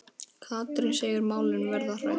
Katrín segir málin verða rædd.